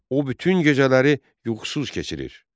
O, bütün gecələri yuxusuz keçirir.